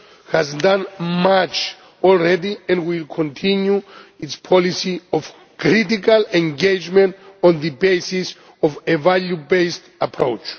has done much already and will continue its policy of critical engagement taking a value based approach.